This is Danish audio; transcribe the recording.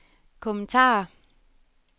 kommentarer